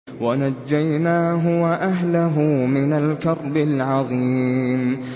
وَنَجَّيْنَاهُ وَأَهْلَهُ مِنَ الْكَرْبِ الْعَظِيمِ